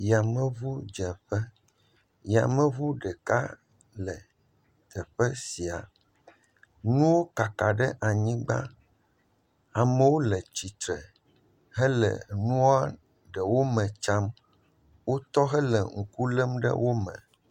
Yameŋudzeƒe, yameŋu ɖeka le teƒe sia, nuwo kaka ɖe anyigba, amewo le tsitre hele nua ɖewo me tsam, wotɔ hele ŋku lém ɖe wo me.